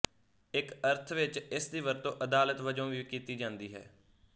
ਇੱਕ ਅਰਥ ਵਿਚ ਇਸ ਦੀ ਵਰਤੋਂ ਅਦਾਲਤ ਵਜੋਂ ਵੀ ਕੀਤੀ ਜਾਂਦੀ ਹੈ